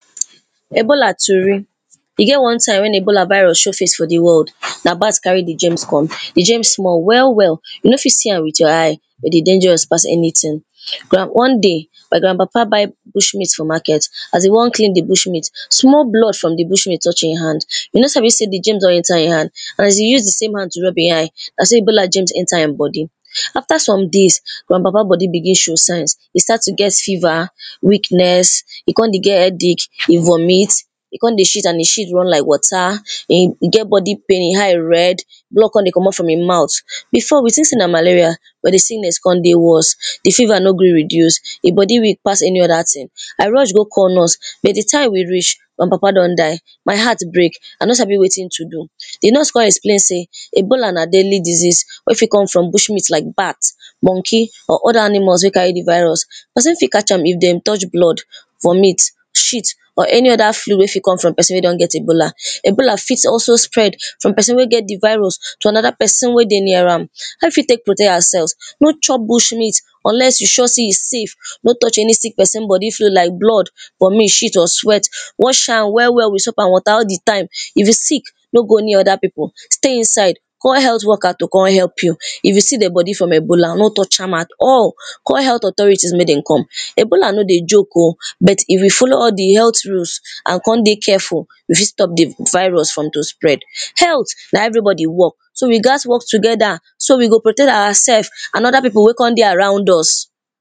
Ebola tori. E get one time when Ebola virus show face for di world, na bat carry di germs come. Di germs small well well, you no fit see am with your eye, but e dey dangerous pass anything. One day, my grand papa buy bush meat for market, as e wan clean di bush meat, small blood from di bush meat touch im hand, e no sabi say di germs don enter im hand, as e use the same hand to rub e eye, na so Ebola germ enter im body, after some days, my papa body begin show signs, e start to get fever, weakness, e con dey get headache, e vomit, e con dey shit and im shit run like water and e get body pain, e eye red, blood con dey comot from in mouth, before we think sey na malaria, but di sickness con dey worst, di fever no gree reduce, e body week pass anyother thing. I rush go call nurse, di time we reach, my papa don die, my heart break, I no sabi wetin to do. Di nurse con explain sey, Ebola na deadly disease wey fit come from bush meat like bat, monkey or other animals wey carry di virus, person fit catch am if dem touch blood, vomit, shit or anyother fluid wey fit come from person wey don get ebola. Ebola fit also spread from person wey get di virus to another wey dey near am. How we fit tek protect awa selves, no chop bush meat unless you sure sey e safe, no touch any sick person body like blood, vomit, shit or sweat, wash am well well with soap and water all di time, if you sick no go any other pipo, stay inside call health worker to con help you, if you see dead body from Ebola no touch am at all call health authorities mek dem come. Ebola no dey joke o, but if you follow all di health rules and con dey careful you fit stop di virus from to spread. Health na everybody work so we gatz work together, so we go protect awa self and other pipo wey con dey around us